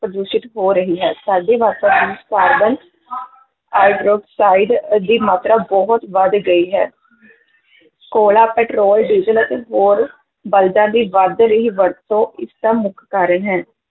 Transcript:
ਪ੍ਰਦੂਸ਼ਿਤ ਹੋ ਰਹੀ ਹੈ ਸਾਡੇ ਵਾਤਾਵਰਨ ਵਿੱਚ ਕਾਰਬਨ ਹਾਈਡ੍ਰਾਕਸਾਈਡ ਅਹ ਦੀ ਮਾਤਰਾ ਬਹੁਤ ਵਧ ਗਈ ਹੈ ਕੋਲਾ, ਪਟਰੋਲ ਡੀਜ਼ਲ ਅਤੇ ਹੋਰ ਬਾਲਦਾਂ ਦੀ ਵਧ ਰਹੀ ਵਰਤੋਂ ਇਸ ਦਾ ਮੁੱਖ ਕਾਰਨ ਹੈ।